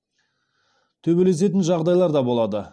төбелесетін жағдайлар да болады